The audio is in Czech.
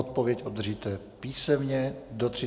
Odpověď obdržíte písemně do 30 dnů.